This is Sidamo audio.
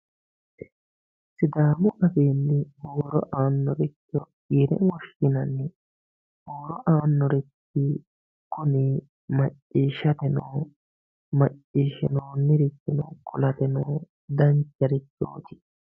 Sidamu afinni huuro anoricho yine woshinanni huuro anorichi kunni wacishateno macishinonirichira qolateno dancharichoti